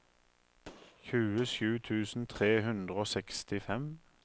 tjuesju tusen tre hundre og sekstifem